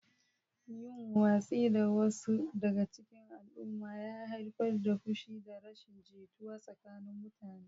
Yin watsi da wasu daga cikin al'umma ya haifar da fushi da rashin jituwa tsakanin mutane.